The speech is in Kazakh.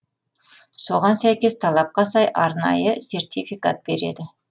соған сәйкес талапқа сай арнайы сертификат береді